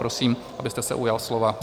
Prosím, abyste se ujal slova.